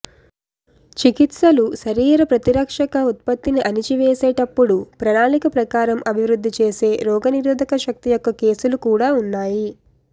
చికిత్సలు శరీర ప్రతిరక్షక ఉత్పత్తిని అణిచివేసేటప్పుడు ప్రణాళిక ప్రకారం అభివృద్ధి చేసే రోగనిరోధక శక్తి యొక్క కేసులు కూడా ఉన్నాయి